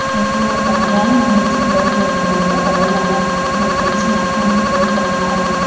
he thlalak ah hian hmeichhe kawr dawr ni awm tak a lo lang a hmuh theih chinah hian kawr pa nga a in kha--